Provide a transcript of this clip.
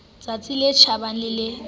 tsatsi le tjhabang le le